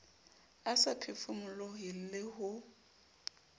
a sa phefomolohe le ho